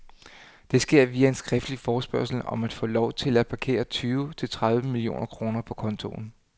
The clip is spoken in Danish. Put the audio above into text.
Det sker via en skriftlig forespørgsel om at få lov til at parkere tyve til tredive millioner kroner på kontoen.